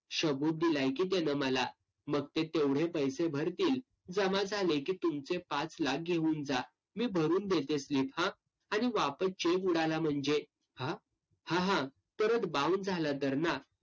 सबूत दिलाय की तेनं मला. मग ते तेवढे पैसे भरतील. जमा झाले की तुमचे पाच लाख घेऊन जा. मी भरून देते slip हा? आणि वापस cheque उडाला म्हणजे? हा? हा हा परत bounce झाला तर ना?